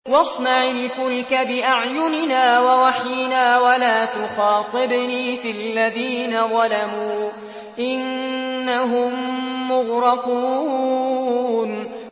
وَاصْنَعِ الْفُلْكَ بِأَعْيُنِنَا وَوَحْيِنَا وَلَا تُخَاطِبْنِي فِي الَّذِينَ ظَلَمُوا ۚ إِنَّهُم مُّغْرَقُونَ